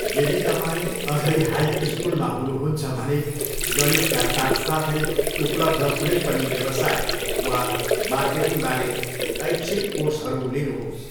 यदि तपाईँ अझै हाई स्कुलमा हुनुहुन्छ भने गणितका साथसाथै उपलब्ध कुनै पनि व्यवसाय वा मार्केटिङबारे ऐच्छिक कोर्सहरू लिनुहोस्।